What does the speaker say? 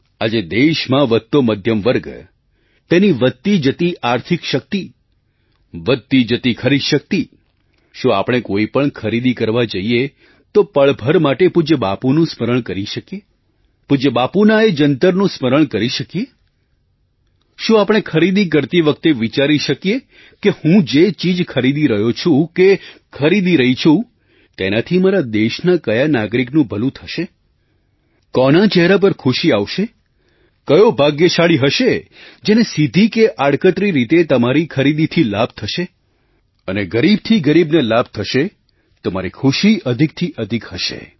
આજે દેશમાં વધતો મધ્યમ વર્ગ તેની વધતી જતી આર્થિક શક્તિ વધતી જતી ખરીદ શક્તિ શું આપણે કોઈ પણ ખરીદી કરવા જઈએ તો પળ ભર માટે પૂજ્ય બાપુનું સ્મરણ કરી શકીએ પૂજ્ય બાપુના એ જંતરનું સ્મરણ કરી શકીએ શું આપણે ખરીદી કરતી વખતે વિચારી શકીએ કે હું જે ચીજ ખરીદી રહ્યો છું કે ખરીદી રહી છું તેનાથી મારા દેશના કયા નાગરિકનું ભલું થશે કોના ચહેરા પર ખુશી આવશે કયો ભાગ્યશાળી હશે જેને સીધી કે આડકતરી રીતે તમારી ખરીદીથી લાભ થશે અને ગરીબથી ગરીબને લાભ થશે તો મારી ખુશી અધિકથી અધિક હશે